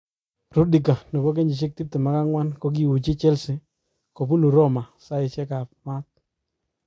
Rudiger , 24, kokiuuchi Chelea kobunu Roma saisiek ab maat.